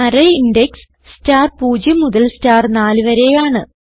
array index star 0 മുതൽ star 4 വരെയാണ്